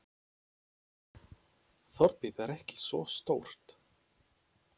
Þorpið er ekki svo stórt.